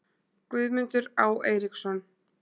Guðmundur Á. Eiríksson